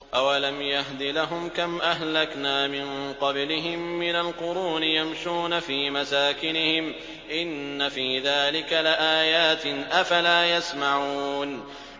أَوَلَمْ يَهْدِ لَهُمْ كَمْ أَهْلَكْنَا مِن قَبْلِهِم مِّنَ الْقُرُونِ يَمْشُونَ فِي مَسَاكِنِهِمْ ۚ إِنَّ فِي ذَٰلِكَ لَآيَاتٍ ۖ أَفَلَا يَسْمَعُونَ